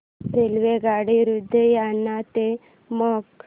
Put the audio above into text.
रेल्वेगाडी लुधियाना ते मोगा